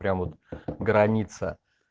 прям вот граница